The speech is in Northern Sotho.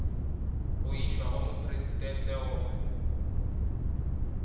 go išwa go mopresidente go